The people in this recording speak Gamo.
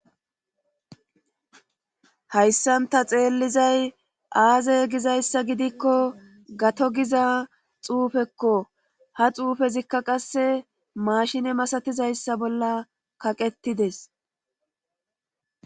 Hayssanta xeellizay aaze gizayssa gidikko gato giza xuufekko ha xuufezikka qasse maashine masatizayssa bolla kaqettides.